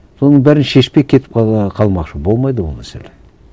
соның бәрін шешпей кетіп қалмақшы болмайды ол мәселе